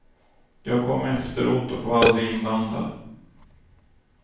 Jag kom efteråt och var aldrig inblandad.